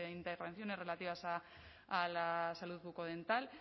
intervenciones relativas a la salud bucodental